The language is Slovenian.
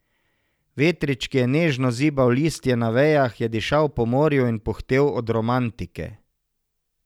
Vetrič, ki je nežno zibal listje na vejah, je dišal po morju in puhtel od romantike.